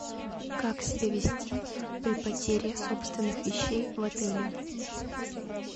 как себя вести при потере собственных вещей в отеле